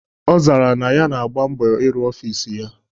Ọ zara na ya na-agba mbọ ịrụ ọfịs ya.